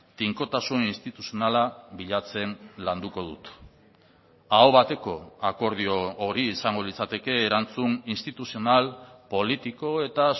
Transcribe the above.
tinkotasun instituzionala bilatzen landuko dut aho bateko akordio hori izango litzateke erantzun instituzional politiko eta